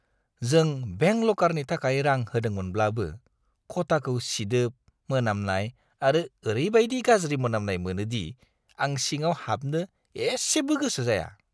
जों बेंक लकारनि थाखाय रां होदोंमोनब्लाबो, खथाखौ सिदोब मोनामनाय आरो ओरैबायदि गाज्रि मोनामनाय मोनो दि आं सिङाव हाबनो एसेबो गोसो जाया।